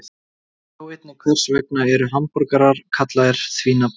Sjá einnig: Hvers vegna eru hamborgarar kallaðir því nafni?